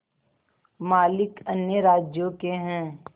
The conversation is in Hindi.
मालिक अन्य राज्यों के हैं